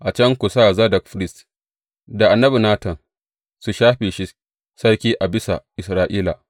A can ku sa Zadok firist, da annabi Natan su shafe shi sarki a bisa Isra’ila.